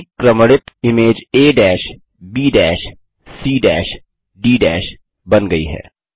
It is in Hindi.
परिक्रमणित इमेज ABC डी बन गई है